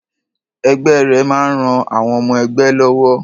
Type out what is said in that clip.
Ẹgbẹ́ rẹ máa ń ran àwọn ọmọ-ẹgbẹ́ wọn lọ́wọ́.